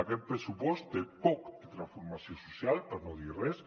aquest pressupost té poc de transformació social per no dir res